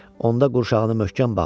Onda qurşağını möhkəm bağladı.